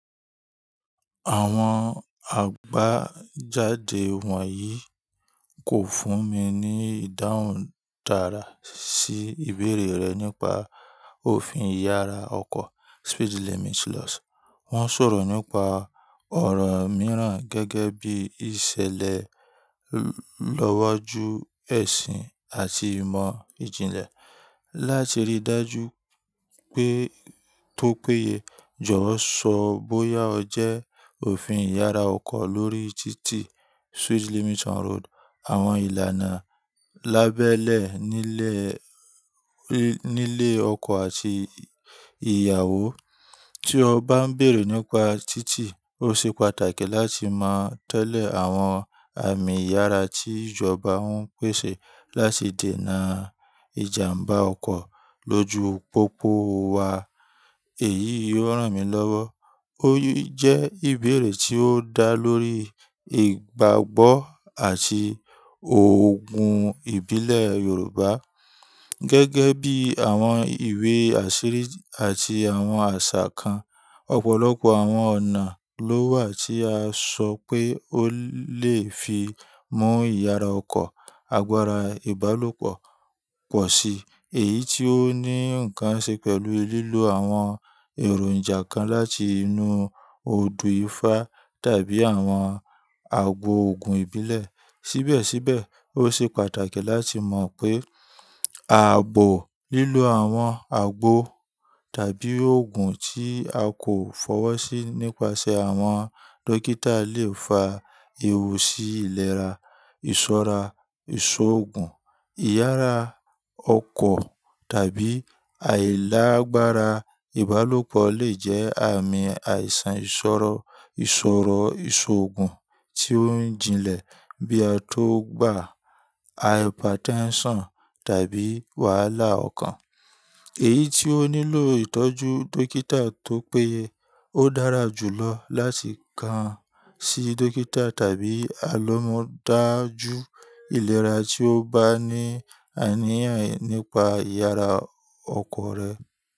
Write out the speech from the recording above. Àwọn àgbéjáde wọ̀nyí kò fún mi ní ìdáhùn dára sí ìbéèrè rẹ nípa òfin ìyára ọkọ̀. Wọ́n sọ̀rọ̀ nípa ọ̀rọ̀ mìíràn gẹ́gẹ́ bí ìṣẹ̀lẹ̀ lọ́wọ́jú ẹ̀sìn àti ìmọ̀ ìjìnlẹ̀. Láti rí i dájú pé tó péye, jọ̀wọ́ sọ bóyá ọ jẹ́ òfin ìyára ọkọ̀ lórí títì, àwọn ìlànà lábẹ́lẹ̀ nílé ọkọ àti ìyàwó. Tí o bá ń béèrè nípa títì, ó ṣe pàtàkì láti mọ̀ tẹ́lẹ̀ àwọn àmì ìyára tí ìjọba ń pèsè láti dènà ìjàmbá ọkọ̀ lójú pópó wa. Èyí yóò ràn mí lọ́wọ́. Ó jẹ́ ìbéèrè tí ó dá lórí ìgbàgbọ́ àti òògùn ìbílẹ̀ Yorùbá, gẹ́gẹ́ bí àwọn ìwé àṣírí àti àwọn àṣà kan. Ọ̀pọ̀lọpọ̀ àwọn ọ̀nà ló wà tí a sọ pé ó lè fi mú ìyára ọkọ̀/àgbára ìbálòpọ̀ pọ̀ sí, èyí tí ó ní nǹkan ṣe pẹ̀lú lílo àwọn èròǹjà kan láti inú odu ifá tàbí àwọn àgbo òògùn ìbílẹ̀. Síbẹ̀síbẹ̀, ó ṣe pàtàkì láti mọ̀ pé ààbò lílo àwọn àgbo tàbí òògùn tí a kò fọwọ́ sí nípasẹ̀ àwọn dókítà lè fa ewu sí ìlera, ìṣọ́ra ìṣọ́ òògùn, ìyára ọkọ̀ tàbí àìlágbára ìbálòpọ̀ lè jẹ́ àmì àìsàn ìṣòro ìṣòro ìṣọ́ òògùn tí ó ń jinlẹ̀ bí a tó gbà hypertension tàbí wàhálà okan, èyí tí ó nílò ìtọ́jú dókítà. Tó péye, ó dára jù lọ láti kan sí dókítà tàbí alómọdájú ìlera tí o bá ní àníyàn nípa ìyára ọkọ̀ rẹ.